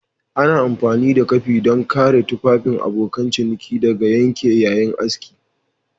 Ana amfani da kafi don kare tufafin abokan ciniki daga yanke yayin aski